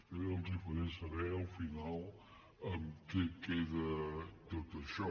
jo ja els faré saber al final en què queda tot això